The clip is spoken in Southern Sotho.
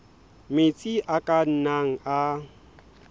metsi a ka nnang a